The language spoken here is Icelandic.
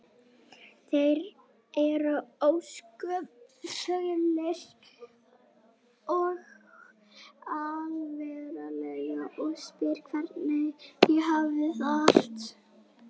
Þeir eru ósköp fölir og alvarlegir og spyrja hvernig ég hafi það og allt það.